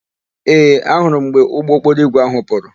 Ee, ahụrụ m mgbe ụgbọokporoigwe áhụ̀ pụrụ.